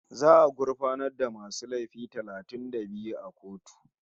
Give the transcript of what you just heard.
Za'a gurfanar da masu laifi talatin da biyu a kotu